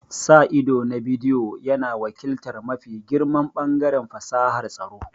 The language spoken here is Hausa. Sa ido na bidiyo yana wakiltar mafi girman ɓangaren fasahar tsaro.